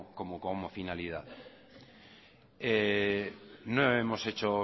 como finalidad no hemos hecho